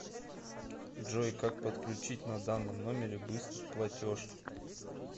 джой как подключить на данном номере быстрый платеж